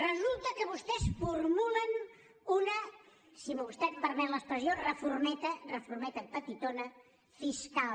resulta que vostès formulen una si vostè em permet l’expressió reformeta reformeta petitona fiscal